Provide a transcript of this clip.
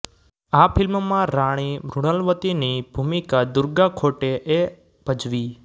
આ ફીલ્મમાં રાણી મૃણાલવતીની ભુમિકા દુર્ગા ખોટે એ ભજવી